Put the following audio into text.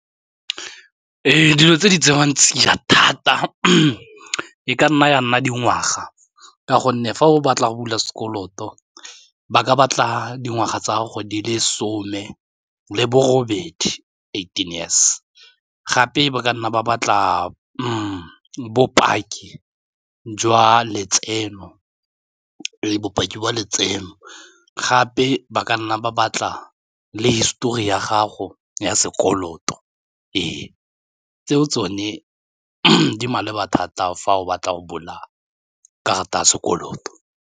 Dilo tse di tseiwang tsa dija thata e ka nna ya nna dingwaga ka gonne fa o batla go bula sekoloto ba ka batla dingwaga tsa gore di le some le bo robedi eighteen years gape ba ka nna ba batla bopaki jwa letseno gape ba ka nna ba batla le histori ya gago ya sekoloto ee tseo tsone di maleba thata fa o batla go bula karata ya sekoloto.